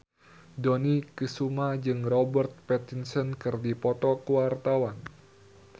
Dony Kesuma jeung Robert Pattinson keur dipoto ku wartawan